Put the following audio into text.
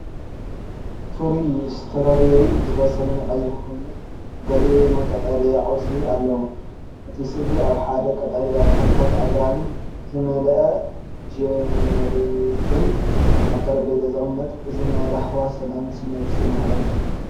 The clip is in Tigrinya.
ፍሩይ ስትሮቨሪ ዝበሰለን ቀይሕን ኮየኑ፡ ገሊኡ ድማ ቀጠልያ ቆጽሊ ኣለዎ። እቲ ሰእኢ ኣብ ሓደ ብቐጠልያ ተኽልታትን ኣግራብን ዝመልአ ጀርዲን ኣብ ጠረጴዛ ይቕመጥ። እዚ ናይ ራህዋን ሰላምን ስምዒት ዘመሓላልፍ እዩ።